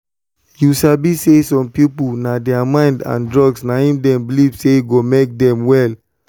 you sabi say some people na thier mind and drugs na him them believe say go make them well.